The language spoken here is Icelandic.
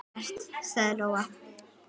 Ekkert, sagði Lóa.